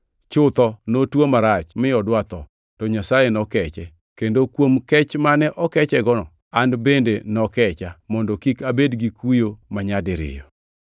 Chutho notuo marach, mi odwa otho. To Nyasaye nokeche, kendo kuom kech mane okechego, an bende nokecha, mondo kik abed gi kuyo manyadiriyo.